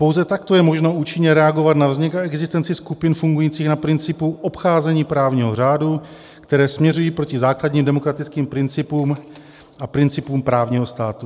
Pouze takto je možno účinně reagovat na vznik a existenci skupin fungujících na principu obcházení právního řádu, které směřují proti základním demokratickým principům a principům právního státu.